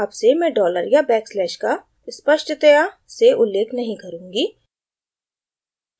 अब से मैं dollar या back slash का स्पष्टतया से उल्लेख नहीं करुँगी